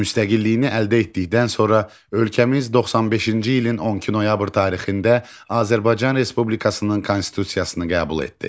Müstəqilliyini əldə etdikdən sonra ölkəmiz 95-ci ilin 12 noyabr tarixində Azərbaycan Respublikasının konstitusiyasını qəbul etdi.